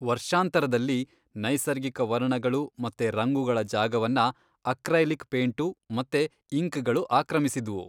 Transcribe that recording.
ವರ್ಷಾಂತರದಲ್ಲಿ, ನೈಸರ್ಗಿಕ ವರ್ಣಗಳು ಮತ್ತೆ ರಂಗುಗಳ ಜಾಗವನ್ನ ಅಕ್ರೈಲಿಕ್ ಪೇಂಟು ಮತ್ತೆ ಇಂಕ್ಗಳು ಆಕ್ರಮಿಸಿದ್ವು.